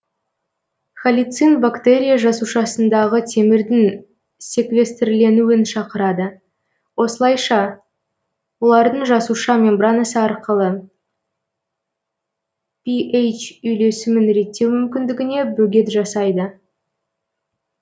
халицин бактерия жасушасындағы темірдің секвестрленуін шақырады осылайшы олардың жасуша мембранасы арқылы пи эйч үйлесімін реттеу мүмкіндігіне бөгет жасайды